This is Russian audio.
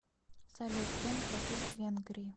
салют чем платить в венгрии